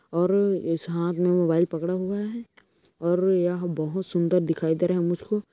और इस हाथ मे मोबाईल पकड़ा हुआ है। और यहा बहोत सुंदर दिखाई दे रहे है मुजकों।